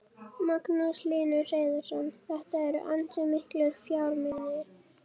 Magnús Hlynur Hreiðarsson: Þetta eru ansi miklir fjármunir?